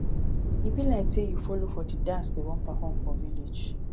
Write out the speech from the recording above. e be like say you follow for the dance dey wan perform for village